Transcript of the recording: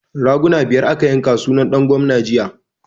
Raguna biyar aka yanka sunan ɗan gwamna jiya